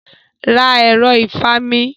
Ra ẹ̀ro ìfami.